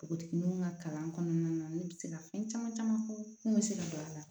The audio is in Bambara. Npogotigininw ŋa kalan kɔnɔna na ne bɛ se ka fɛn caman caman fɔ mun bɛ se ka don a la